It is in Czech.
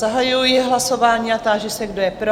Zahajuji hlasování a táži se, kdo je pro?